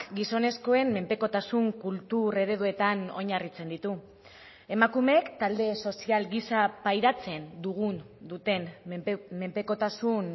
gizonezkoen menpekotasun kultur ereduetan oinarritzen ditu emakumeek talde sozial gisa pairatzen dugun duten menpekotasun